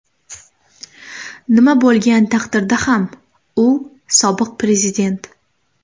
Nima bo‘lgan taqdirda ham u sobiq prezident.